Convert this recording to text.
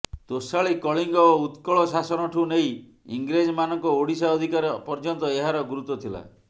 ତୋଷାଳି କଳିଙ୍ଗ ଓ ଉତ୍କଳ ଶାସନଠୁ ନେଇ ଇଂରେଜମାନଙ୍କ ଓଡ଼ିଶା ଅଧିକାର ପର୍ଯ୍ୟନ୍ତ ଏହାର ଗୁରୁତ୍ବ ଥିଲା